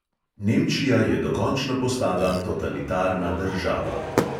Nemčija je dokončno postala totalitarna država.